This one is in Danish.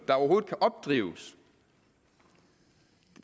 overhovedet kan opdrives